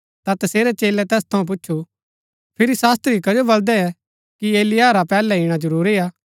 ता तसेरै चेलै तैस थऊँ पुछु फिरी शास्त्री कजो बलदै कि एलिय्याह रा पैहलै इणा जरूरी हा